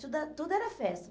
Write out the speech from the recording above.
Tudo é tudo era festa.